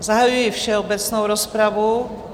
Zahajuji všeobecnou rozpravu.